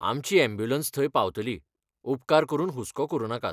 आमची यॅम्ब्युलंस थंय पावतली, उपकार करून हुस्को करूं नाकात.